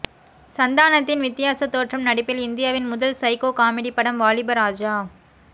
சந்தானத்தின் வித்தியாச தோற்றம் நடிப்பில் இந்தியாவின் முதல் சைக்கோ காமெடி படம் வாலிபராஜா